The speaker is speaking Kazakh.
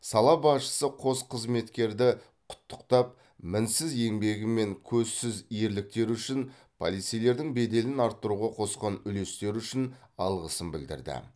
сала басшысы қос қызметкерді құттықтап мінсіз еңбегі мен көзсіз ерліктері үшін полицейлердің беделін арттыруға қосқан үлестері үшін алғысын білдірді